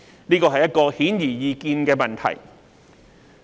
這是一個顯而易見的問題。